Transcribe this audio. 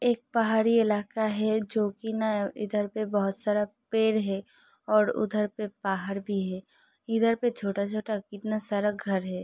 एक पहाड़ी इलाका हैजो कि न इधर पर बहुत सारे पेड़ है। और उधर भी पहाड़ भी है। इधर पे छोटा-छोटा कितना सारा घर है।